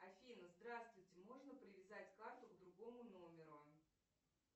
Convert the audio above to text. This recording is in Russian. афина здравствуйте можно привязать карту к другому номеру